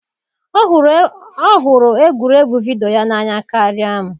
Ọ hụrụ egwuregwu vidiyo n'anya karịa m.